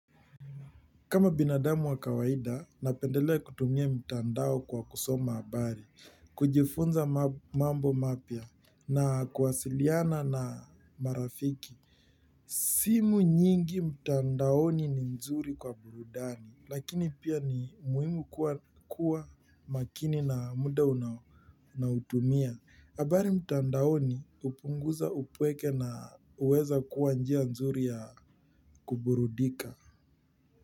Kama binadamu wa kawaida, napendelea kutumia mtandao kwa kusoma habari, kujifunza mambo mapya, na kuwasiliana na marafiki. Simu nyingi mtandaoni ni nzuri kwa burudani, lakini pia ni muhimu kuwa makini na muda unaotumia. Habari mtandaoni hupunguza upweke na huweza kuwa njia nzuri ya kuburudika.